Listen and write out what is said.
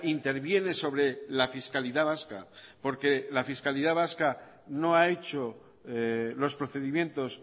interviene sobre la fiscalidad vasca porque la fiscalidad vasca no ha hecho los procedimientos